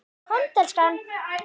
Komdu elskan!